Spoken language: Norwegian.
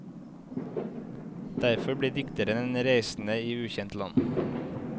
Derfor blir dikteren en reisende i ukjent land.